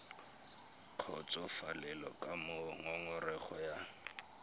kgotsofalele ka moo ngongorego ya